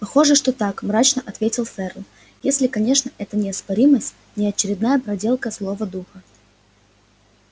похоже что так мрачно ответил ферл если конечно эта неоспоримость не очередная проделка злого духа